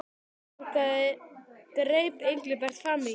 Mig langaði greip Engilbert fram í.